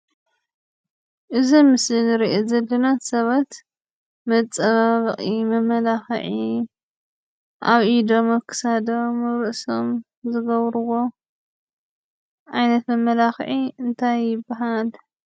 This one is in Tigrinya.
እዚ ኣብ ምስሊ እንሪኦ ዘለና ሰባት መፀባበቂ፣ መመላኪዒ፤ አብ ኢደም፣ አብ ክሳዶም፣ አብ ርእሶም፣ ዝገብርዎ ዓይነት መመላኪዒ እንታይ ይባሃል ?